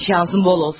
Şansın bol olsun.